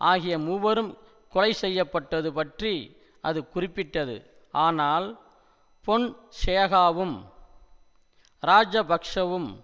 ஆகிய மூவரும் கொலைசெய்யப்பட்டது பற்றி அது குறிப்பிட்டது ஆனால் பொன்சேகாவும் இராஜபக்ஷவும்